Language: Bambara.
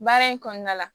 Baara in kɔnɔna la